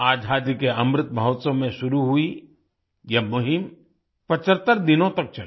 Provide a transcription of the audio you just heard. आज़ादी के अमृत महोत्सव में शुरू हुई यह मुहिम 75 दिनों तक चली